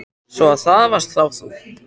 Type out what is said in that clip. Svo. að það varst þá þú?